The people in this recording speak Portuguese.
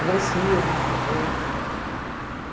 agressivos, até, né?!